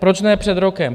Proč ne před rokem?